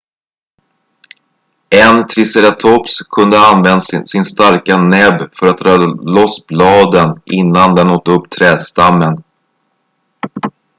en triceratops kunde ha använt sin starka näbb för att dra loss bladen innan den åt upp trädstammen